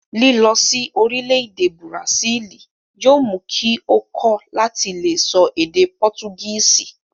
Lilọ sí orílẹ̀-èdè bùràsílì yóò mú kí ó kọ́ láti le sọ èdè pọtugísì.